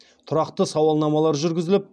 тұрақты сауалнамалар жүргізіліп